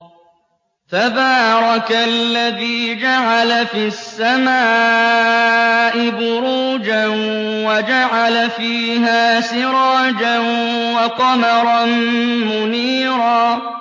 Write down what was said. تَبَارَكَ الَّذِي جَعَلَ فِي السَّمَاءِ بُرُوجًا وَجَعَلَ فِيهَا سِرَاجًا وَقَمَرًا مُّنِيرًا